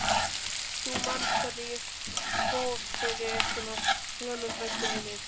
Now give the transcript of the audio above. Þú manst hvernig fór fyrir Svönu frænku minni.